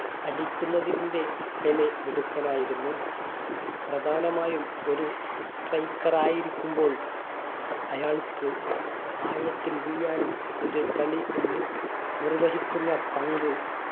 അടിക്കുന്നതിന്റെ Pele മിടുക്കനായിരുന്നു പ്രധാനമായും ഒരു striker ആയിരിക്കുമ്പോൾ അയാ അയാൾക്ക് ആയത്തിൽ വീഴാനും ഒരു കളി നിർ നിർവഹിക്കുന്ന പങ്ക്